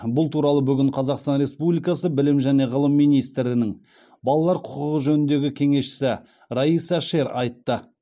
бұл туралы бүгін қазақстан республикасы білім және ғылым министрінің балалар құқығы жөніндегі кеңесшісі райса шер айтты